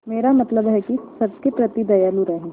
मेरा मतलब है कि सबके प्रति दयालु रहें